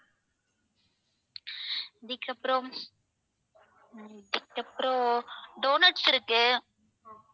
அதுக்கப்பறம் அதுக்கப்பறம் donuts இருக்கு